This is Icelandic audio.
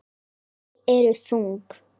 Ský eru þung.